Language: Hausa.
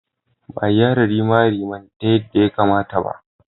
Ba a gyara rimariman taya yadda ya kamata ba.